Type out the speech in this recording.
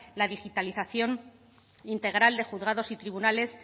la digitalización integral de juzgados y tribunales